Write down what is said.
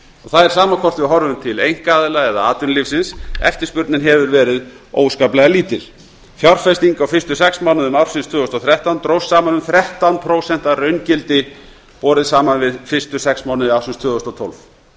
það er sama hvort við horfum til einkaaðila eða atvinnulífsins eftirspurnin hefur verið óskaplega lítil fjárfesting á fyrstu sex mánuðum ársins tvö þúsund og þrettán dróst saman um þrettán prósent að raungildi borið saman við fyrstu sex mánuði ársins tvö þúsund og tólf